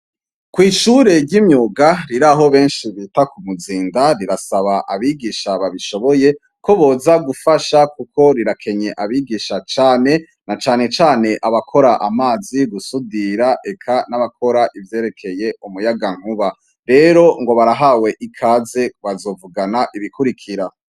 Kwishure ryimyuga riraho benshi bita kumuzinda rirasaba abigisha babishoboye koboza gufasha kuko rirakenye abigisha cane na cane cane abakora amazi gusudira eka nabakora ivyerekeye umuyagankuba rero ngo barahawe ikaze bazovugana ibikurikira